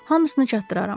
Hamısını çatdıraram.